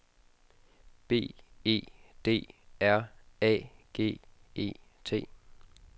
B E D R A G E T